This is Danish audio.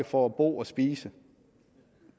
for at bo og spise